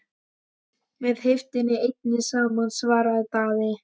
Með heiftinni einni saman, svaraði Daði.